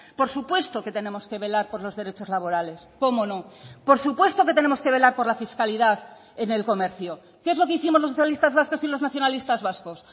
por supuesto que tenemos que velar por los derechos laborales cómo no por supuesto que tenemos que velar por la fiscalidad en el comercio qué es lo que hicimos los socialistas vascos y los nacionalistas vascos